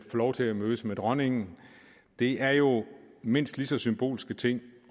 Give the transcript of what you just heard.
lov til at mødes med dronningen det er jo mindst lige så symbolske ting